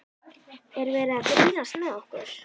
Er verið að grínast með okkur?